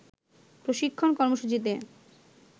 প্রশিক্ষণ কর্মসূচিতে